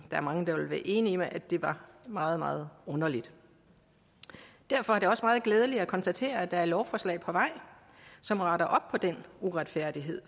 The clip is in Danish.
er mange der vil være enig med at det var meget meget underligt derfor er det også meget glædeligt at konstatere at der er et lovforslag på vej som retter op på den uretfærdighed